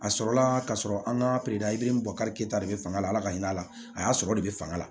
A sɔrɔla ka sɔrɔ an ka bɔ karita de bɛ fanga la ala ka hinɛ a la a y'a sɔrɔ de bɛ fanga la